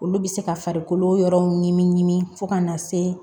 Olu bɛ se ka farikolo yɔrɔw ɲimi ɲimi fo ka na se